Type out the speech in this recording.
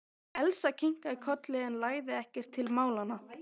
Elsa kinkaði kolli en lagði ekkert til málanna.